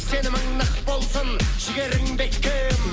сенімің нық болсын жігерің бекем